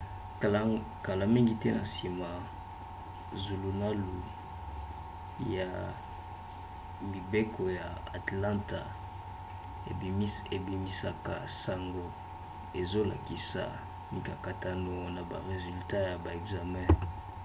kala mingi te na nsima zulunalu ya mibeko ya atlanta ebimisaka sango ezolakisa mikakatano na ba resultat ya ba ekzame